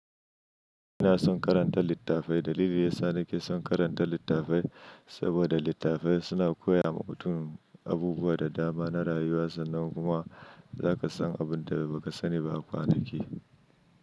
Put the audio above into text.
Ina son karanta littafai. Dalili yasa nake son karanta littafai saboda littafai suna koya ma mutum abubuwa da dama na rayuwa sannan kuma zaka san abin da baka sani ba kwanaki.